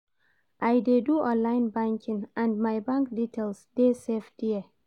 I dey do online banking and my bank details dey safe there.